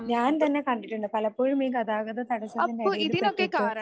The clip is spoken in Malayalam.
ഞാൻ തന്നെ കണ്ടിട്ടുണ്ട് പലപ്പോഴും ഈ ഗതാഗത തടസ്സത്തിൻറെ എടയില് പെട്ടിട്ട്